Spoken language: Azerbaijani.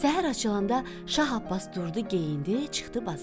Səhər açılanda Şah Abbas durdu, geyindi, çıxdı bazara.